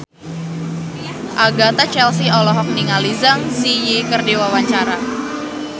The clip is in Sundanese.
Agatha Chelsea olohok ningali Zang Zi Yi keur diwawancara